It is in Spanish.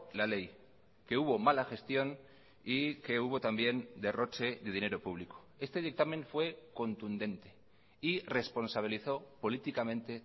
la ley que hubo mala gestión y que hubo también derroche de dinero público este dictamen fue contundente y responsabilizó políticamente